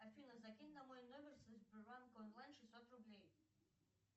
афина закинь на мой номер со сбербанк онлайн шестьсот рублей